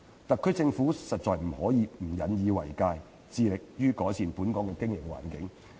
特區政府實在不能不引以為戒，致力於改善本港的營商環境。